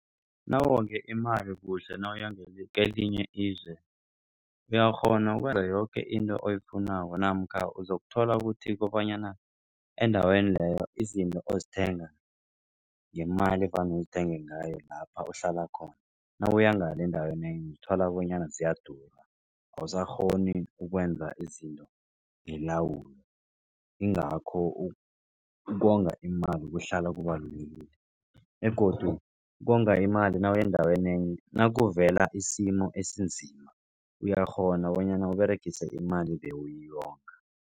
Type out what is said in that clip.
Nawonge imali kuhle nawuya kelinye izwe uyakghona yoke into oyifunako namkha uzokuthola ukuthi kobanyana endaweni leyo izinto ozithenga ngemali evane uzithenge ngayo lapha uhlala khona. Nawuya ngale endaweni enye uthola bonyana ziyadura awusakghoni ukwenza izinto ngelawulo. Ingakho ukonga imali kuhlala kubalulekile begodu ukonga imali nawuya endaweni enye nakuvela isimo esinzima uyakghona bonyana uberegise imali ebewuyonga.